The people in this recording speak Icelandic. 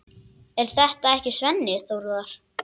Er þetta ekki Svenni Þórðar?